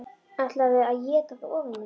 ÆTLARÐU AÐ ÉTA ÞAÐ OFAN Í ÞIG!